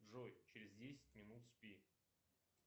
джой через десять минут спи